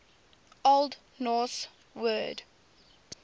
old norse word